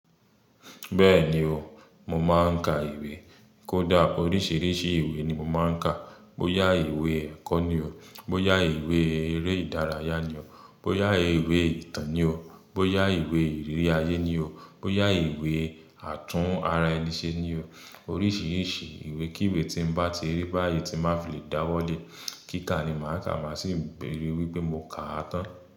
Bẹ́ẹ̀ni o, mo máa ń ka ìwé. Kódà oríṣiríṣi ìwé ni mo máa ń kà. Bóyá ìwé ẹ̀kọ́ ni o, bóyá ìwé eré ìdárayá ni o, bóyá ìwé ìtàn ni o, bóyá ìwé ìrírí ayé ni o, bóyá ìwé àtún ara ẹni ṣe ni o. Oríṣiríṣi ìwé kí ìwé tí n bá ti rí báyìí tí má fi lè dáwọ́ le, kíká ni màá kà má sì bẹ̀-- ri wípé mo ka tán.